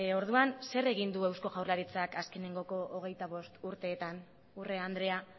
orduan zer egin du eusko jaurlaritzak azkenengoko hogeita bost urteetan urrea andrea